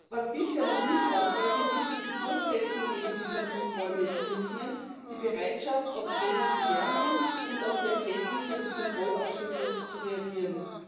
Was bisher noch nicht ausreichend ist, ist die Durchsetzung eben dieser Kontrollmechanismen, die Bereitschaft, aus Fehlern zu lernen und auf die Erkenntnisse des Kontrollausschusses zu reagieren.